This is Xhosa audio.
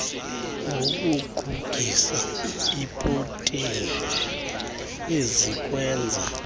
ngokugugisa iiproteni ezikwenza